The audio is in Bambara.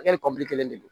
A kɛli kelen de don